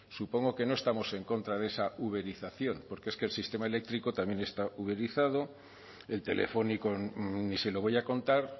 supongo que no estamos en contra de esa uberización porque es que el sistema eléctrico también está uberizado el telefónico ni se lo voy a contar